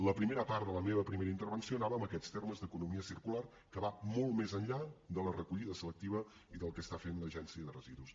la primera part de la meva primera intervenció anava en aquests termes d’economia circular que va molt més enllà de la recollida selectiva i del que fa l’agència de residus